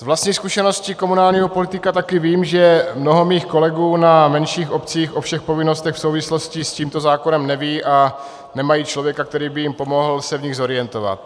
Z vlastní zkušenosti komunálního politika taky vím, že mnoho mých kolegů na menších obcích o všech povinnostech v souvislosti s tímto zákonem neví a nemají člověka, který by jim pomohl se v nich zorientovat.